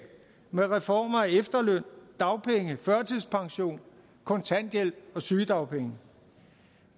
med reformer af efterløn dagpenge førtidspension kontanthjælp og sygedagpenge